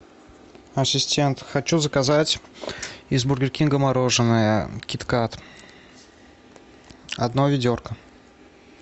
ассистент хочу заказать из бургер кинга мороженое кит кат одно ведерко